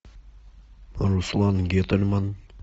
руслан гительман